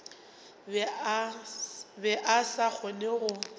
be a sa kgone go